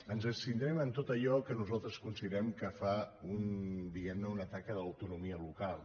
ens abstindrem en tot allò que nosaltres considerem que fa diguem ne un atac a l’autonomia local